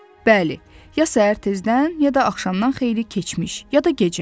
Bəli, ya səhər tezdən, ya da axşamdan xeyli keçmiş, ya da gecə.